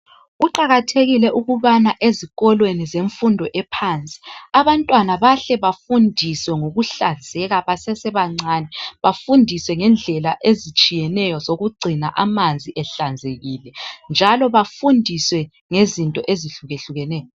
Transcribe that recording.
kuqakathekile ukubana ezikolweni zemfundo ephansi abantwana bahle bafundiswe ngokuhlanzeka basesebancane bafundiswe ngendlela ezitshiyeneyo zokugciuna amanzi ehlanzekile njalo bafundiswe ngezinto ezihlukehlukeneyo